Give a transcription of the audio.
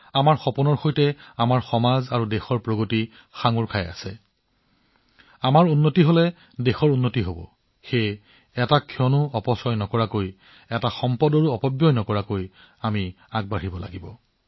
আমাৰ সপোনবোৰ এনেকুৱা হব যাতে আমাৰ সমাজ আৰু দেশৰ বিকাশ সংযুক্ত হৈ পৰে আমাৰ প্ৰগতিয়ে দেশৰ প্ৰগতিৰ পথ মুকলি কৰে আৰু তাৰ বাবে আমি আজি অনুভৱ কৰিব লাগিব এক মুহূৰ্ত নেহেৰুৱাকৈ কণা নেহেৰুৱাকৈ